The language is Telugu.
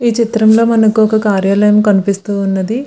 ఈ చిత్రం లో మనకు ఒక కార్యాలయం కనిపిస్తూ ఉన్నదీ.